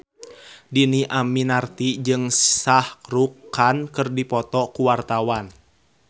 Dhini Aminarti jeung Shah Rukh Khan keur dipoto ku wartawan